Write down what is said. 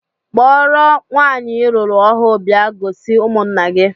Kpọrọ nwaanyị I lụrụ ọhụụ bịa gosi ụmụnna gị!